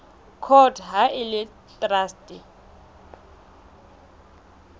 court ha e le traste